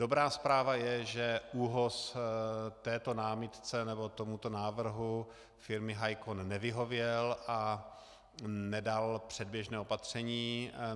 Dobrá zpráva je, že ÚOHS této námitce nebo tomuto návrhu firmy Hicon nevyhověl a nedal předběžné opatření.